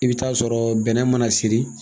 I be taa sɔrɔ bɛnɛ mana siri